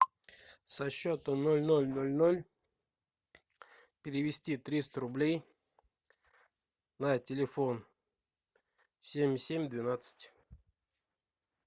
со счета ноль ноль ноль ноль перевести триста рублей на телефон семь семь двенадцать